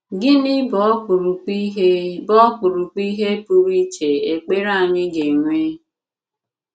Gịnị bụ̀ ọkpụ̀rụ̀kpụ̀ ihé bụ̀ ọkpụ̀rụ̀kpụ̀ ihé pụrụ íchè ekpere anyị ga-enwe?